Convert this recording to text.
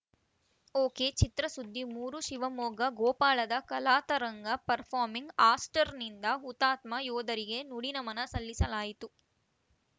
ಒಕೆಚಿತ್ರಸುದ್ದಿ ಮೂರು ಶಿವಮೊಗ್ಗ ಗೋಪಾಳದ ಕಲಾತರಂಗ ಪರ್ಫಾರ್ಮಿಂಗ್‌ ಆಟ್ಸ್‌ರ್‍ನಿಂದ ಹುತಾತ್ಮ ಯೋಧರಿಗೆ ನುಡಿನಮನ ಸಲ್ಲಿಸಲಾಯಿತು